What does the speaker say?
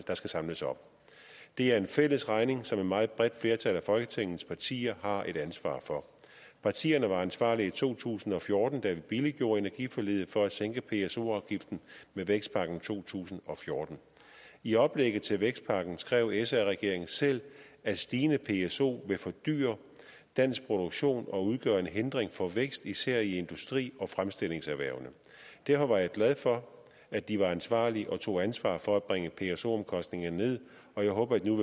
der skal samles op det er en fælles regning som et meget bredt flertal folketingets partier har et ansvar for partierne var ansvarlige i to tusind og fjorten da vi billiggjorde energiforliget for at sænke pso afgiften med vækstpakken to tusind og fjorten i oplægget til vækstpakken skrev sr regeringen selv at stigende pso vil fordyre dansk produktion og udgøre en hindring for vækst især i industri og fremstillingserhvervene derfor var jeg glad for at de var ansvarlige og tog ansvar for at bringe pso omkostningerne ned og jeg håber at de nu